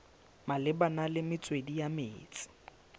malebana le metswedi ya metsi